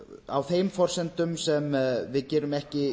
á þeim forsendum sem við gerum ekki